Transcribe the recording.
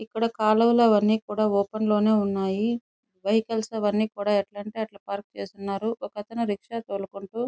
ఇక్కడ కాలువలు అవన్నీ ఓపెన్ లోనే ఉన్నాయి వెహికల్ కూడా ఎట్లా అంటే అట్లా పార్క్ చేసి ఉన్నాయి ఒక అతను రిక్షా తోలుకుంటూ --